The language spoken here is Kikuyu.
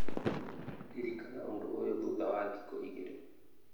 Ririkana ũndũ ũyũ thutha wa thikũ igĩrĩ